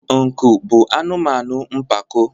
nku bụ anụmanụ mpako